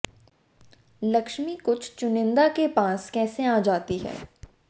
लक्ष्मी कुछ चुनिंदा के पास कैसे आ जाती है